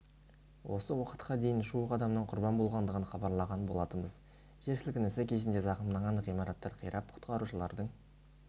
осы уақытқа дейін жуық адамның құрбан болғандығын хабарлаған болатынбыз жер сілкінісі кезінде зақымданған ғимараттар қирап құтқарушылардың